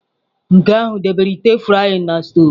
Nke ahụ debere ite frying na stovu